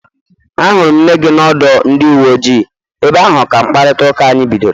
Ahụrụ m nne gị n'ọdụ ndị uwe ojii, ebe ahụ ka mkparịta ụka anyị bidoro